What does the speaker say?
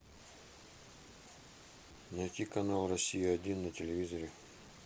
найти канал россия один на телевизоре